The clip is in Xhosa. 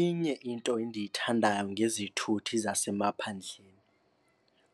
Inye into endiyithandayo ngezithuthi zasemaphandleni